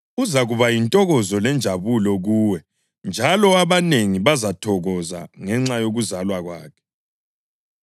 Uzakuba yintokozo lenjabulo kuwe njalo abanengi bazathokoza ngenxa yokuzalwa kwakhe,